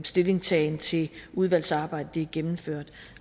stillingtagen til udvalgsarbejdet er gennemført